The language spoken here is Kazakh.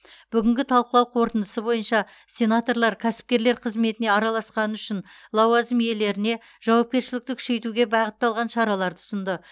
бүгінгі талқылау қорытындысы бойынша сенаторлар кәсіпкерлер қызметіне араласқаны үшін лауазым иелеріне жауапкершілікті күшейтуге бағытталған шараларды ұсынды